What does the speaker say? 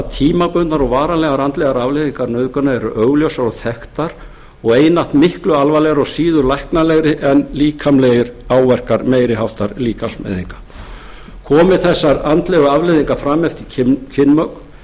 tímabundnar og varanlegar andlegar afleiðingar nauðgana eru augljósar og þekktar og einatt miklu alvarlegri og síður læknanlegar en líkamlegir áverkar meiri háttar líkamsmeiðinga komi þessar andlegu afleiðingar fram eftir kynmök